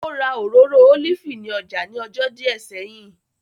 Ó ra Òróró Ólífì ní ọjà ní ọjọ́ díẹ̀ sẹ́yìn